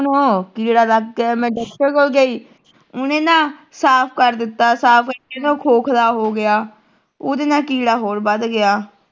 ਉਹਨੂੰ ਕੀੜਾ ਲੱਗ ਗਿਆ ਮੈਂ ਡਾਕਟਰ ਕੋਲ ਗਈ ਉਹਨੇ ਨਾ ਸਾਫ ਕਰ ਦਿੱਤਾ ਸਾਫ ਕਰਕੇ ਨਾ ਉਹ ਖੋਖਲਾ ਹੋ ਗਿਆ ਉਦੇ ਨਾਲ ਕੀੜਾ ਹੋਰ ਵੱਧ ਗਿਆ